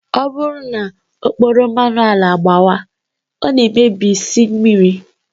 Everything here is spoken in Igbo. Ọ bụrụ na okporo mmanụ ala gbawaa, ọ na-emebisi mmiri